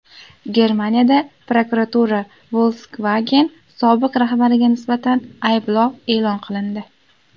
Germaniyada prokuratura Volkswagen sobiq rahbariga nisbatan ayblov e’lon qilindi.